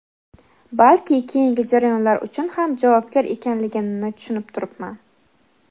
balki keyingi jarayonlar uchun ham javobgar ekanligimni tushunib turibman.